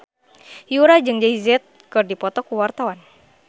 Yura jeung Jay Z keur dipoto ku wartawan